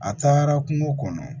A taara kungo kɔnɔ